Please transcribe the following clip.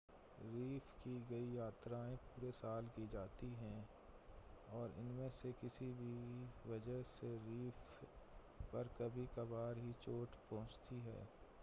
reef की कई यात्राएं पूरे साल की जाती हैं और इनमें से किसी भी वजह से रीफ़ पर कभी-कभार ही चोट पहुंचती है